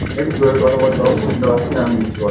একটু জোরে কথা বল বাবু শুনতে পাচ্ছি না আমি কিছু কথাটা।